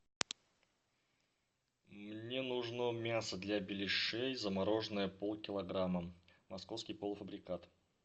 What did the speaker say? мне нужно мясо для беляшей замороженное полкилограмма московский полуфабрикат